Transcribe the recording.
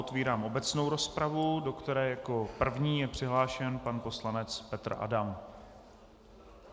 Otvírám obecnou rozpravu, do které jako první je přihlášen pan poslanec Petr Adam.